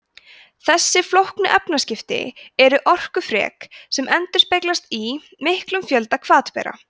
þessi flóknu efnaskipti eru orkufrek sem endurspeglast í miklum fjölda hvatbera